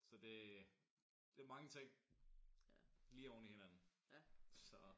Så det er det er mange ting lige oven i hinanden så